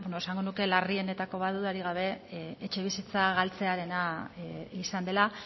esango nuke larrienetako bat dudarik gabe etxebizitza galtzearena izan dela